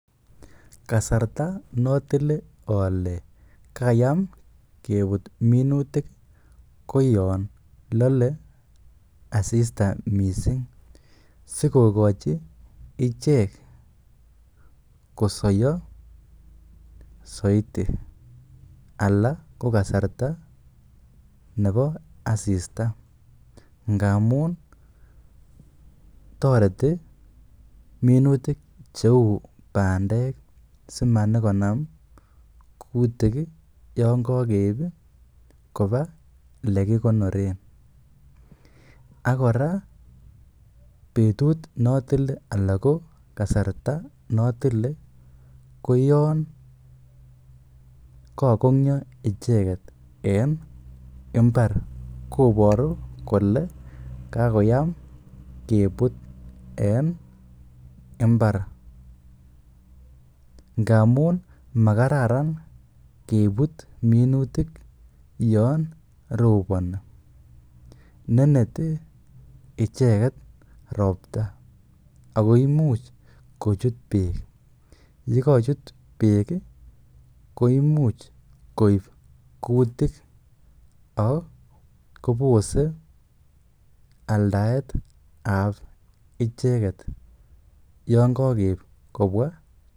Ksarta notile ole kayam kebut minutik koyon lole asista mising sikogochi ichek kosoiyo soiti. Anan ko kasarta nebo asista ngamun toreti minutik cheu bandek simanyikonam kutik yon kogeib koba lekikonoren. Ak kora betut notile anan ko kasarta notile ko yon kogonyo icheget en mbar, koboru kole kagoyam kebut en mbar ngamun makararan kebut minutik yon roboni. Neneti icheget ropta ago imuch kochut beek. Ye kocut beek koimuch koib kutik ak kobose aldaetab icheget yon kokeib kobwa.